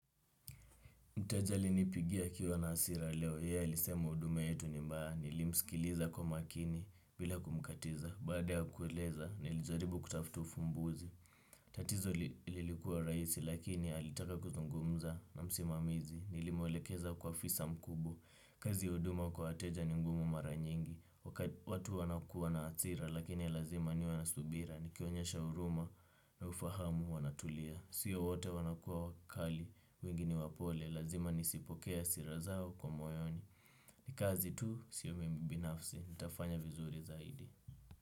Mteja alinipigia akiwa na hasira leo, yeye ilisema huduma yetu ni mbaya, nilimsikiliza kwa makini bila kumkatiza, baada ya kujieleza, nilijaribu kutafuta fumbuzi. Tatizo lilikuwa rahisi, lakini alitaka kuzungumza na msimamizi, nilimwelekeza kwa afisa mkubwa, kazi ya huduma kwa wateja ni ngumu mara nyingi. Watu wanakuwa na hasira, lakini lazima niwe na subira, nikionyesha huruma na ufahamu, wanatulia. Siyo wote wanakuwa wakali. Wengi ni wapole lazima nisipokee hasira zao kwa moyo. N ikazi tu, sio mimi binafsi. Nitafanya vizuri zaidi.